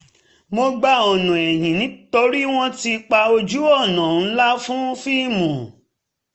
mo gba ọ̀nà ẹ̀yìn torí wọ́n ti pa ojú-ọ̀nà ńlá fún fíìmù